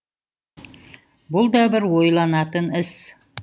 бұл да бір ойланатын іс